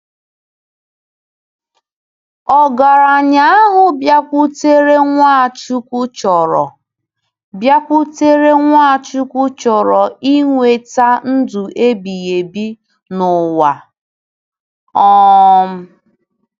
Ogaranya ahụ bịakwutere Nwachukwu chọrọ bịakwutere Nwachukwu chọrọ inweta ndụ ebighị ebi n'ụwa. um